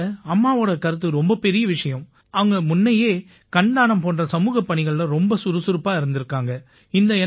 இதில அம்மாவோட கருத்து ரொம்ப பெரிய விஷயம் அவங்க முன்னயே கண் தானம் போன்ற சமூகப் பணிகள்ல ரொம்ப சுறுசுறுப்பா இருந்திருக்காங்க